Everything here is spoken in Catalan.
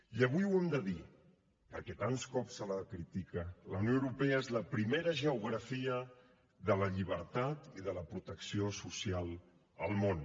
i avui ho hem de dir perquè tants cops se la critica la unió europea és la primera geografia de la llibertat i de la protecció social al món